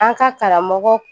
An ka karamɔgɔ